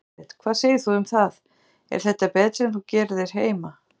Elísabet: Hvað segir þú um það, er þetta betra en þú gerir heima?